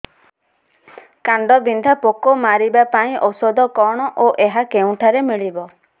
କାଣ୍ଡବିନ୍ଧା ପୋକ ମାରିବା ପାଇଁ ଔଷଧ କଣ ଓ ଏହା କେଉଁଠାରୁ ମିଳିବ